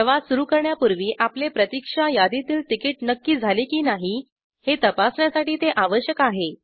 प्रवास सुरू करण्यापूर्वी आपले प्रतिक्षा यादीतील तिकिट नक्की झाले की नाही हे तपासण्यासाठी ते आवश्यक आहे